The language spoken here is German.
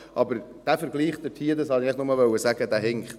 Aber dieser Vergleich, das wollte ich nur sagen, dieser hinkt.